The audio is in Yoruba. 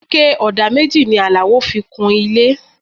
Ike ọ̀dà méjì ni Alao fi kun ilé